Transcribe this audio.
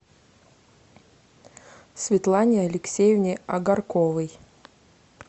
светлане алексеевне агарковой